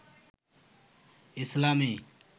ইসলামী